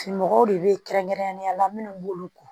Mɔgɔw de bɛ kɛrɛnkɛrɛnnenya la minnu b'olu ko